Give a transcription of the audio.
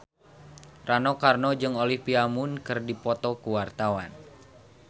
Rano Karno jeung Olivia Munn keur dipoto ku wartawan